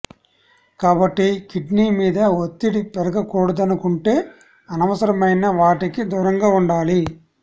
కాబట్టి కిడ్నీ మీద ఒత్తిడి పెరగకూడదనుకుంటే అనవసరమైన వాటికి దూరంగా ఉండాలి